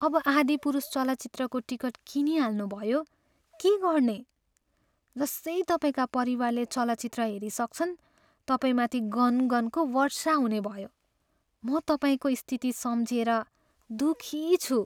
अब "आदिपुरुष" चलचित्रको टिकट किनिहाल्नुभयो, के गर्ने? जसै तपाईँका परिवारले चलचित्र हेरिसक्छन्, तपाईँमाथि गनगनको वर्षा हुने भयो। म तपाईँको स्थिति सम्झिएर दुःखी छु।